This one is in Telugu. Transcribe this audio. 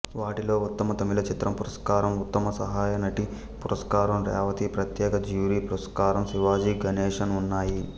వాటిలో ఉత్తమ తమిళ చిత్రం పురస్కారం ఉత్తమ సహాయనటి పురస్కారం రేవతి ప్రత్యేక జ్యూరీ పురస్కారం శివాజీ గణేశన్ ఉన్నాయి